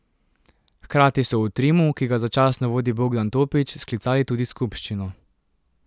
Hkrati so v Trimu, ki ga začasno vodi Bogdan Topič, sklicali tudi skupščino.